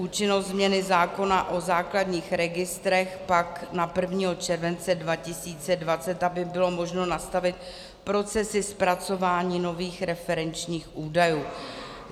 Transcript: Účinnost změny zákona o základních registrech pak na 1. července 2020, aby bylo možno nastavit procesy zpracování nových referenčních údajů.